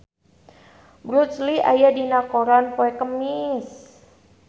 Bruce Lee aya dina koran poe Kemis